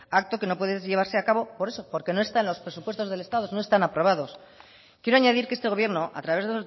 acto que no puede llevarse a cabo por eso porque no están los presupuestos del estado no están aprobados quiero añadir que este gobierno a través